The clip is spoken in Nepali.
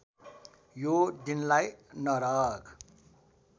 यो दिनलाई नरक